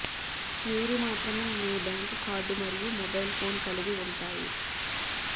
మీరు మాత్రమే మీ బ్యాంకు కార్డు మరియు మొబైల్ ఫోన్ కలిగి ఉంటాయి